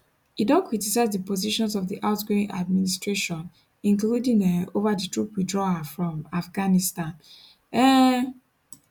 e don criticise di positions of di outgoing administration including um ova di troop withdrawal from afghanistan um